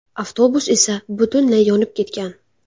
Avtobus esa butunlay yonib ketgan.